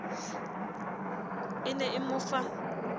e ne e mo fa